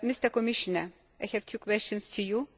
Commissioner, I have two questions for you.